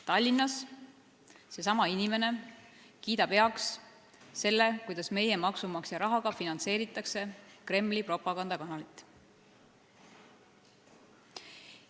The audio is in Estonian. Tallinnas kiidab seesama inimene heaks selle, kuidas meie maksumaksja rahaga finantseeritakse Kremli propagandakanalit.